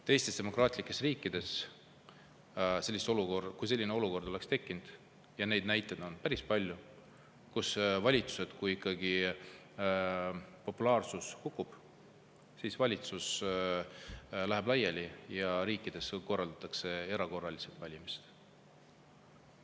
Teistes demokraatlikes riikides, kui selline olukord on tekkinud – ja neid näiteid on päris palju –, kui populaarsus on kukkunud, siis valitsus läheb laiali ja korraldatakse erakorralised valimised.